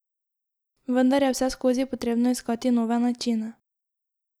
Vendar je vseskozi potrebno iskati nove načine.